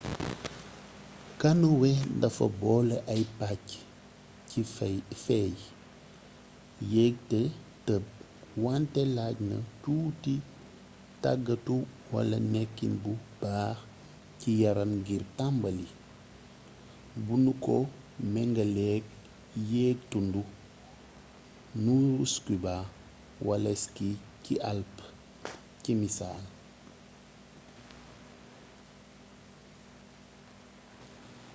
kanoye dafa boole ay pàcc ci féey yéeg te tëb- wante laaj na tuuti tàggatu wala nekkin bu baax ci yaram ngir tàmbali bu nu ko mengaleek yéeg tund nuuru scuba wala ski ci alpë ci misaal